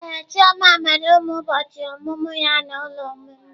Ee, chioma mere ụbọchị ọmụmụ ya na ụlọ ụmụ mgbei.